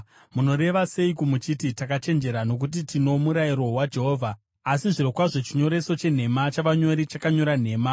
“ ‘Munoreva seiko muchiti, “Takachenjera, nokuti tino murayiro waJehovha,” asi zvirokwazvo chinyoreso chenhema chavanyori chakanyora nhema?